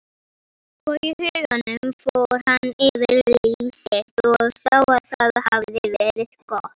Og í huganum fór hann yfir líf sitt og sá að það hafði verið gott.